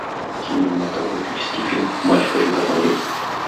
кинематографический фильм матч хочу посмотреть